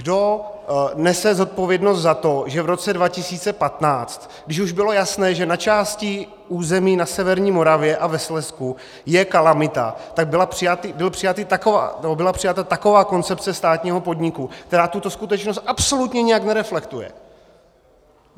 Kdo nese zodpovědnost za to, že v roce 2015, když už bylo jasné, že na části území na severní Moravě a ve Slezsku je kalamita, tak byla přijata taková koncepce státního podniku, která tuto skutečnost absolutně nijak nereflektuje?